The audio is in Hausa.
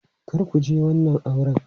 Kar ku je wannan auren!